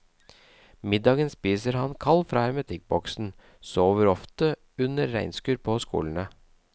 Middagen spiser han kald fra hermetikkboksen, sover ofte under regnskur på skolene.